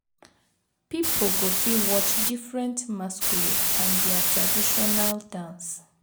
Pipo go fit watch diffrent masquerade and dia traditional dance